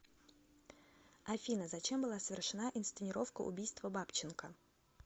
афина зачем была совершена инсценировка убийства бабченко